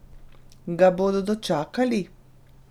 Ga bodo dočakali?